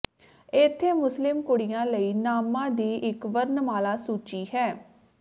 ਇੱਥੇ ਮੁਸਲਿਮ ਕੁੜੀਆਂ ਲਈ ਨਾਮਾਂ ਦੀ ਇੱਕ ਵਰਣਮਾਲਾ ਸੂਚੀ ਹੈ